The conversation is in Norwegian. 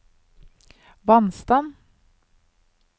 vannstand